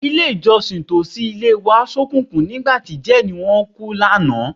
Ilé-ìjọ́sìn tòsí ilé wa ṣókùnkùn nígbà tí jẹ́ẹ̀nì wọn kú lánàá.